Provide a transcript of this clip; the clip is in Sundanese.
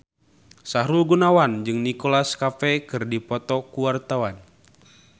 Sahrul Gunawan jeung Nicholas Cafe keur dipoto ku wartawan